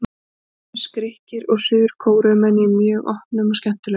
Þar mættust Grikkir og Suður Kóreumenn í mjög opnum og skemmtilegum leik.